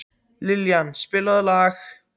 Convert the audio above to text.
Liljan, spilaðu lag.